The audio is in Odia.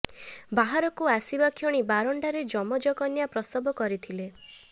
ବାହାରକୁ ଆସିବା କ୍ଷଣି ବାରଣ୍ଡାରେ ଯମଜ କନ୍ୟା ପ୍ରସବ କରିଥିଲେ